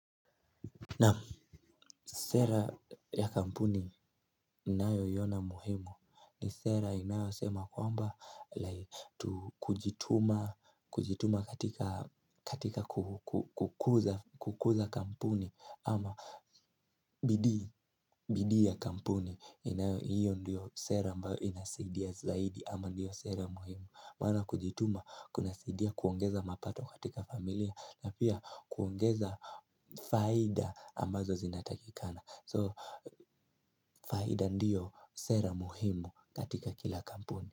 Naam, sera ya kampuni ninayoiona muhimu ni sera inayosema kwamba kujituma katika kukuza kampuni ama bidii ya kampuni inayo hiyo ndiyo sera ambayo inasadia zaidi ama ndiyo sera muhimu. Maana kujituma kunasaidia kuongeza mapato katika familia na pia kuongeza faida ambazo zinatakikana So faida ndiyo sera muhimu katika kila kampuni.